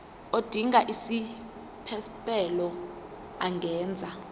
odinga isiphesphelo angenza